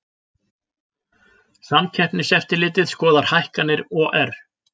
Samkeppniseftirlitið skoðar hækkanir OR